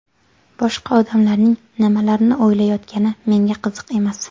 Boshqa odamlarning nimalarni o‘ylayotgani menga qiziq emas.